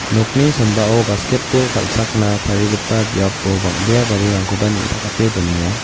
nokni sambao basketbol kal·chakna tarigipa biapo bang·bea garirangkoba neng·takate donenga.